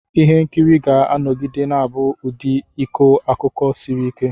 Ihe nkiri ga-anọgide na-abụ ụdị ịkọ akụkọ siri ike.